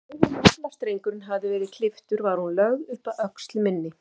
Um leið og naflastrengurinn hafði verið klipptur var hún lögð upp að öxl minni.